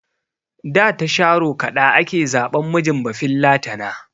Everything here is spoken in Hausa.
Da ta sharo kaɗa ake zaɓan mijin bafillatana.